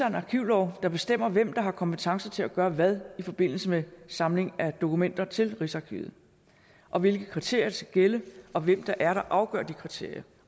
en arkivlov der bestemmer hvem der har kompetence til at gøre hvad i forbindelse med indsamling af dokumenter til rigsarkivet og hvilke kriterier der skal gælde og hvem det er der afgør de kriterier